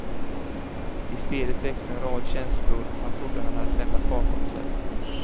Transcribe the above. I spelet väcks en rad känslor han trodde att han lämnat bakom sig.